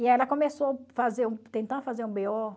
E ela começou fazer um tentar fazer um bê ó